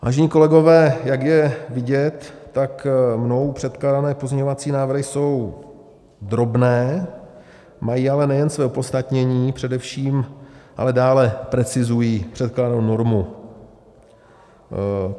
Vážení kolegové, jak je vidět, tak mnou předkládané pozměňovací návrhy jsou drobné, mají ale nejen své opodstatnění, především ale dále precizují předkládanou normu.